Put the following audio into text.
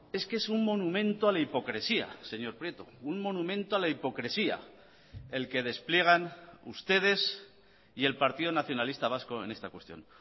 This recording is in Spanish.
es que es un monumento a la hipocresía señor prieto un monumento a la hipocresía el que despliegan ustedes y el partido nacionalista vasco en esta cuestión